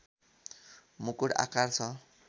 मुकुट आकार छ